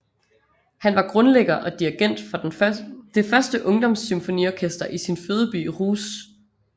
Han var grundlægger og dirigent for det første ungdoms symfoniorkester i sin fødeby Rousse